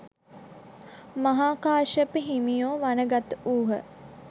මහා කාශ්‍යප හිමියෝ වනගත වූහ.